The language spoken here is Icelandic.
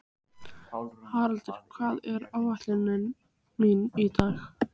Haraldur, hvað er á áætluninni minni í dag?